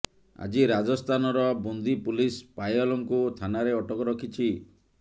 ଆଜି ରାଜସ୍ଥାନର ବୁନ୍ଦୀ ପୁଲିସ୍ ପାୟଲଙ୍କୁ ଥାନାରେ ଅଟକ ରଖିଛି